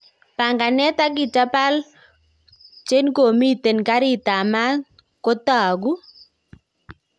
panganet ap kitapal chenkomiten garit ap mat ko tag'uu